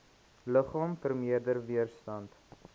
liggaam vermeerder weerstand